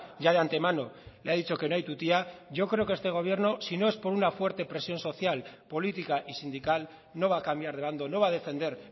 ya de antemano le ha dicho que no hay tu tía yo creo que este gobierno si no es por una fuerte presión social política y sindical no va a cambiar de bando no va a defender